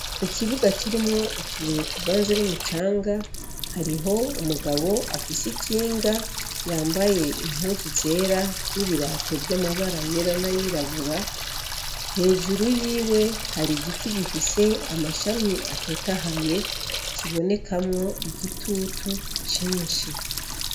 Ikibuga kirimwo utubuye tuvanze n'umucanga, hariho umugabo afise ikinga yambaye impuzu zera n'ibirato vy'amabara yera n'ayirabura. Hejuru yiwe hari igiti gifise amashami atotahaye, kibonekamwo igitutu cinshi.